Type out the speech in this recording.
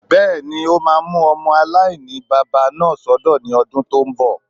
Bẹ́ẹ̀ni, o máa mú ọmọ aláìní-baba náà sọ́dọ̀ ní ọdún tó n bọ̀